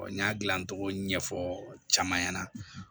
n y'a gilan cogo ɲɛfɔ caman ɲɛna